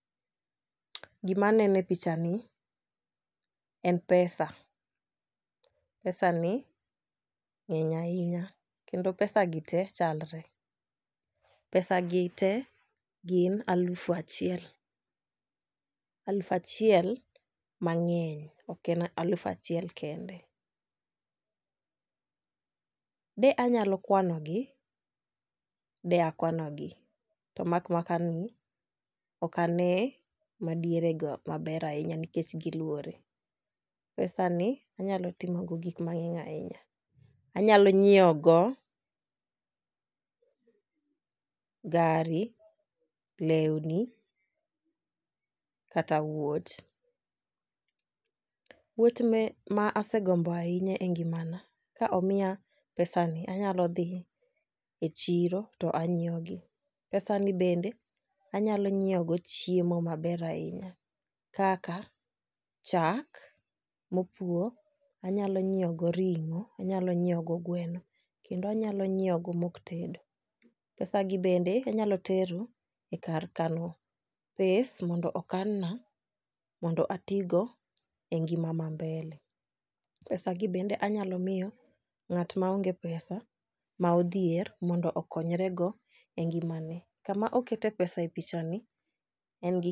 Gima nene picha ni en pesa, pesa ni ng'eny ahinya kendo pesa gi te chalre. Pesa gi te gin alufa chiel alufa chiel mang'eny ok en alufa chiel kende. De anyalo kwano gi de akwano gi to mak maka ni ok ane madiere go maber ahinya nikech giluore. Pesa ni anyalo timo go gik mang'eny ahinya anyalo nyiewo go gari, lewni , kata wuoch. Wuoch me ma asegombo ahinya e ngimana ka omiya pesa ni anyalo dhi e chiro to anyiewo gi . pesa ni bende anyalo nyiewo go chiemo maber ahinya kaka chak mopwo anyalo nyiewo go ring'o , anyalo nyiewo go gweno kendo anyalo nyiewo go mok tedo pesa gi bende anaylo tero a kar kano pes mondo okan na mondo atigo e ngima ma mbele. Pesa gi bende anyalo miyo ng'at ma aonge pesa ma odhier mondo okonyre go e ngimane kama okete pesa e picha ni en gi